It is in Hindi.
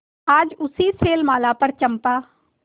आज उसी शैलमाला पर चंपा